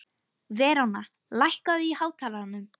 Veróna, lækkaðu í hátalaranum.